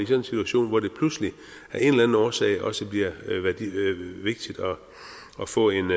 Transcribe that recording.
situation hvor det pludselig af en årsag også bliver vigtigt at få en